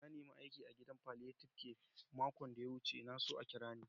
Na nema aiki a'gidan palliative care makon da ya wuce. Na so a kira ni.